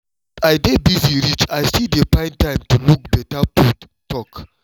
as i dey busy reach i still dey find time to look better food talk